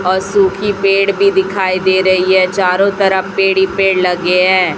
अ सुखी पेड़ भी दिखाई दे रही है चारों तरफ पेड़ ही पेड़ लगे हैं।